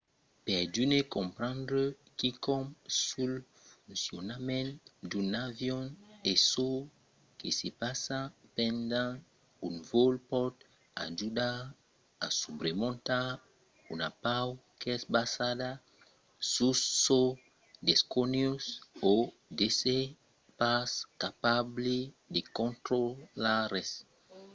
per d'unes comprendre quicòm sul foncionament d'un avion e çò que se passa pendent un vòl pòt ajudar a subremontar una paur qu’es basada sus çò desconegut o d’èsser pas capable de contrarotlar res